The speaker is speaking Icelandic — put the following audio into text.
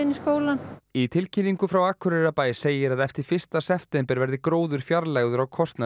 skólann í tilkynningu frá Akureyrarbæ segir að eftir fyrsta september verði gróður fjarlægður á kostnað